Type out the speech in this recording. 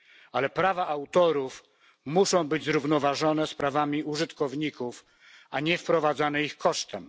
Ale prawa autorów muszą być zrównoważone z prawami użytkowników, a nie wprowadzane ich kosztem.